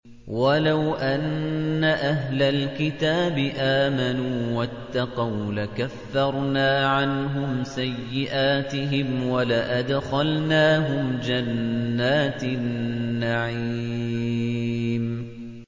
وَلَوْ أَنَّ أَهْلَ الْكِتَابِ آمَنُوا وَاتَّقَوْا لَكَفَّرْنَا عَنْهُمْ سَيِّئَاتِهِمْ وَلَأَدْخَلْنَاهُمْ جَنَّاتِ النَّعِيمِ